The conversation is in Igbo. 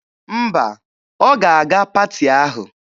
Mba, ọ ga-aga paati ahụ.